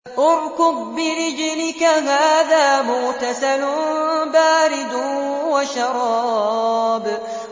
ارْكُضْ بِرِجْلِكَ ۖ هَٰذَا مُغْتَسَلٌ بَارِدٌ وَشَرَابٌ